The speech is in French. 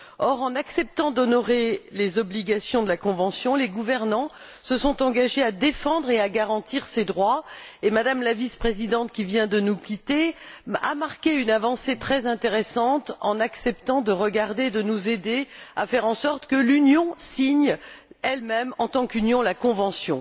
Or, en acceptant d'honorer les obligations de la Convention, les gouvernants se sont engagés à défendre et à garantir ces droits et Mme la Vice présidente, qui vient de nous quitter, a marqué une avancée très intéressante en acceptant de nous aider à faire en sorte que l'Union signe elle même, en tant qu'Union, la Convention.